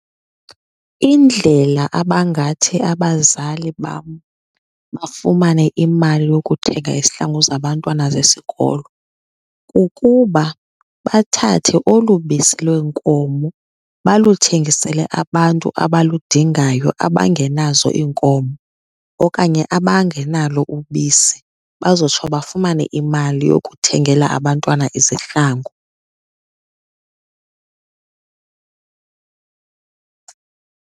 Indlela abangathi abazali bam bafumane imali yokuthenga izihlangu zabantwana zesikolo kukuba bathathe olu bisi lweenkomo baluthengisele abantu abaludingayo abangenazo iinkomo okanye abangenalo ubisi bazotsho bafumane imali yokuthengela abantwana izihlangu.